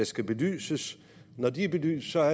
skal belyses når de er belyst er